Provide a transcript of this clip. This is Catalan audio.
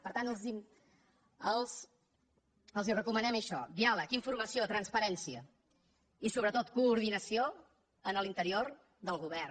per tant els recomanem això diàleg informació transparència i sobretot coordinació en l’interior del govern